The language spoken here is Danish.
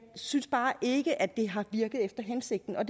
synes bare ikke at det har virket efter hensigten og